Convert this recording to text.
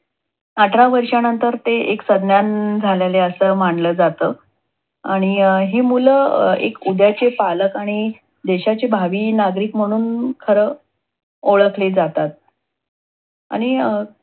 अठरा वर्षानंतर ते एक सज्ञान झालले अस मानल जात. आणि हे मूल अं एक उद्याचे पालक आणि देशाचे एक भावी नागरिक म्हणून खर ओळखले जातात. आणि अं